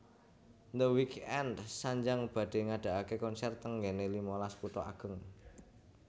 The Weeknd sanjang badhe ngadaake konser teng nggene limalas kutha ageng